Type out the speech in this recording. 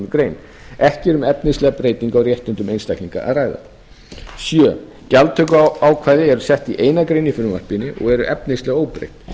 grein ekki er um efnislega breytingu á réttindum einstaklinga að ræða sjöunda gjaldtökuákvæði eru sett í eina grein í frumvarpinu og eru efnislega óbreytt